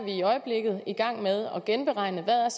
i øjeblikket er i gang med at genberegne hvad